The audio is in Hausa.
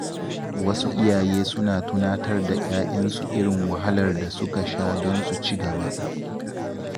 Wasu iyaye suna tunatar da ‘ya’yansu irin wahalar da suka sha don su ci gaba.